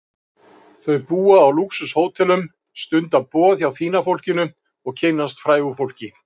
Þau búa á lúxus-hótelum, stunda boð hjá fína fólkinu og kynnast frægu fólki.